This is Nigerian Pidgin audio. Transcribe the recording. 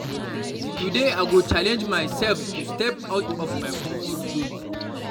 Today, I go challenge myself to step out of my comfort zone.